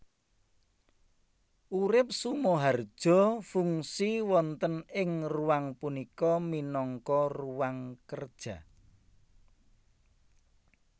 Urip SumoharjoFungsi wonten ing ruang punika minangka ruang kerja